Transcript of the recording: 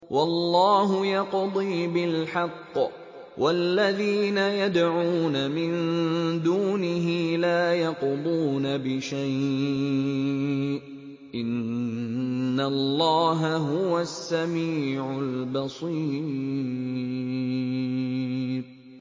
وَاللَّهُ يَقْضِي بِالْحَقِّ ۖ وَالَّذِينَ يَدْعُونَ مِن دُونِهِ لَا يَقْضُونَ بِشَيْءٍ ۗ إِنَّ اللَّهَ هُوَ السَّمِيعُ الْبَصِيرُ